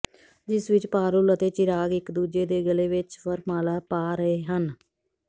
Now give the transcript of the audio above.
ਜਿਸ ਵਿੱਚ ਪਾਰੁਲ ਅਤੇ ਚਿਰਾਗ ਇੱਕ ਦੂਜੇ ਦੇ ਗਲੇ ਵਿੱਚ ਵਰਮਾਲਾ ਪਾ ਰਹੇ ਹਨ